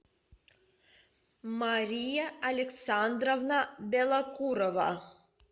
мария александровна белокурова